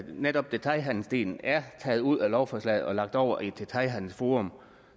netop detailhandelsdelen er taget ud af lovforslaget og lagt over i et detailhandelsforum